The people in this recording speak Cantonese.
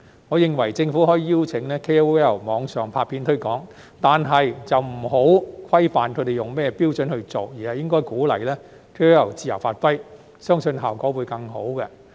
我認為，政府可以邀請 KOL 網上拍片推廣，但不要規範他們以甚麼標準來做，而是應鼓勵 KOL 自由發揮，相信效果會更好。